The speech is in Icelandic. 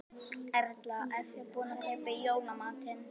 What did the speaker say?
Erla: Ert þú búin að kaupa í jólamatinn?